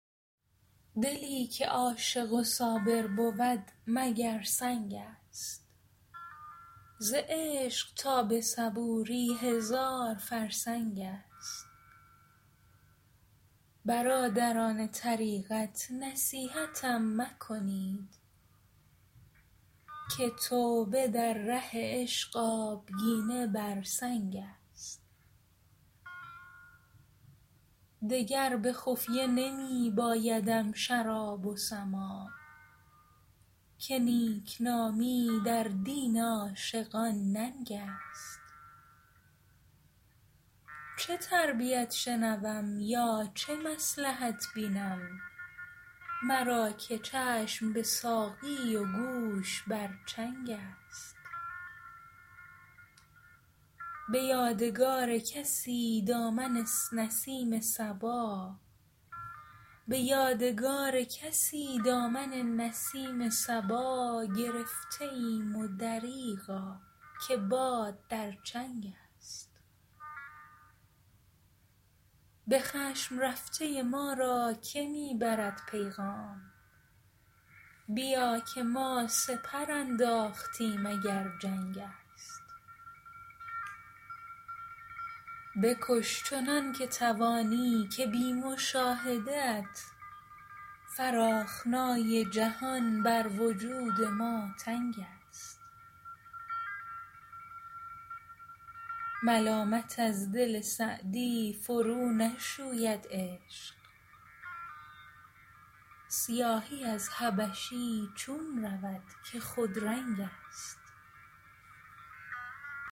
دلی که عاشق و صابر بود مگر سنگ است ز عشق تا به صبوری هزار فرسنگ است برادران طریقت نصیحتم مکنید که توبه در ره عشق آبگینه بر سنگ است دگر به خفیه نمی بایدم شراب و سماع که نیکنامی در دین عاشقان ننگ است چه تربیت شنوم یا چه مصلحت بینم مرا که چشم به ساقی و گوش بر چنگ است به یادگار کسی دامن نسیم صبا گرفته ایم و دریغا که باد در چنگ است به خشم رفته ما را که می برد پیغام بیا که ما سپر انداختیم اگر جنگ است بکش چنان که توانی که بی مشاهده ات فراخنای جهان بر وجود ما تنگ است ملامت از دل سعدی فرونشوید عشق سیاهی از حبشی چون رود که خودرنگ است